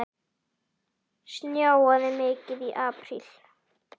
Snjóaði mikið í apríl?